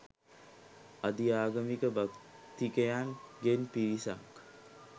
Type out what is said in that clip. අධි ආගම් භක්තිකයන් ගෙන් පිරිසක්